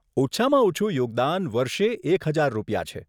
ઓછામાં ઓછું યોગદાન વર્ષે એક હજાર રૂપિયા છે.